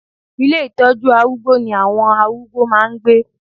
Ilé ìtọ́jú arúgbó ní àwon arúgbó máà ń gbé